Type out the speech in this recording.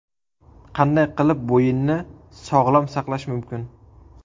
Qanday qilib bo‘yinni sog‘lom saqlash mumkin?.